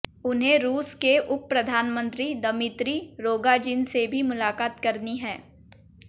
उन्हें रूस के उपप्रधानमंत्री दमित्री रोगोजिन से भी मुलाकात करनी है